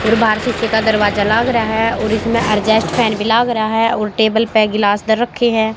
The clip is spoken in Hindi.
और बाहर शीशे का दरवाजा लग रहें हैं और इसमें एडजस्ट फॅन भीं लग रहा हैं और टेबल पे गिलास इधर रखीं हैं।